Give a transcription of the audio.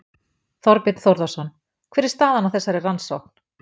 Þorbjörn Þórðarson: Hver er staðan á þessari rannsókn?